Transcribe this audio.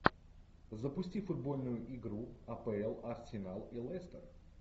запусти футбольную игру апл арсенал и лестер